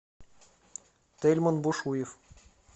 тельман бушуев